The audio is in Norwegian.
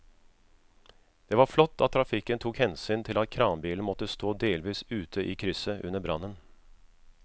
Det var flott at trafikken tok hensyn til at kranbilen måtte stå delvis ute i krysset under brannen.